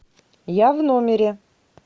я в номере